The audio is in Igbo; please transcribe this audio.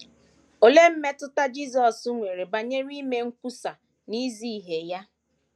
Olee mmetụta Jisọs nwere banyere ime nkwusa na izi ihe ya?